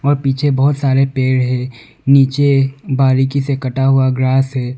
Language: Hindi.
और पीछे बहुत सारे पेड़ है नीचे बारीकी से कटा हुआ ग्रास है।